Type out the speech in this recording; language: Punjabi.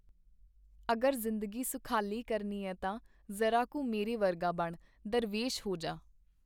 ਅਗਰ ਜ਼ਿੰਦਗੀ ਸੁਖਾਲੀ ਕਰਨੀ ਏ ਤਾਂ ਜ਼ਰਾ ਕੁ ਮੇਰੇ ਵਰਗਾ ਬਣ , ਦਰਵੇਸ਼ ਹੋ ਜਾ .